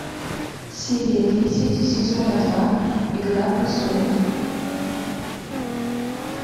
серия десять сезона два игра престолов